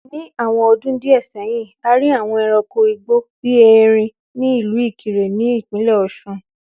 Ní àwọn ọdún díẹ̀ sẹ́yìn, a rí àwọn ẹranko igbó bíi erin ní ìlú Ìkirè ní Ìpínlẹ̀ Ọ̀ṣun